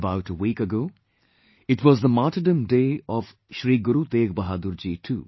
About a week ago, it was the Martyrdom Day of Shri Guru Tegh Bahadurji too